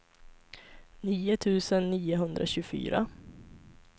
nio tusen niohundratjugofyra